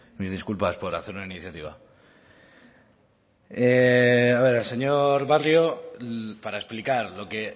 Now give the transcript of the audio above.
mis disculpas por hacer una iniciativa a ver al señor barrio para explicar lo que